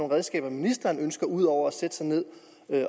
redskaber ministeren ønsker udover at sætte sig ned